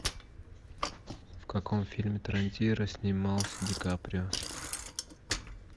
в каком фильме тарантино снимался ди каприо